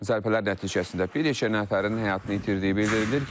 Zərbələr nəticəsində bir neçə nəfərin həyatını itirdiyi bildirilir.